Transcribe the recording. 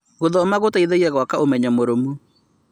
Gũthoma gũteithagia gwaka ũmenyo mũrũmu.